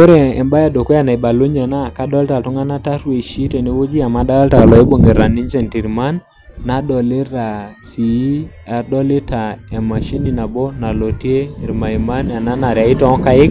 Ore embaye e dukuya naibalunye naa kadolta iltung'anak tarueshi tene wueji amu adolta loibung'ita ninche intirman, nadolita sii adolita emashini nabo nalotie irmaiman ena narewi too nkaek,